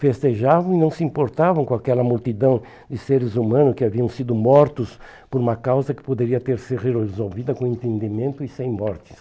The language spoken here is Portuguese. Festejavam e não se importavam com aquela multidão de seres humanos que haviam sido mortos por uma causa que poderia ter sido resolvida com entendimento e sem mortes.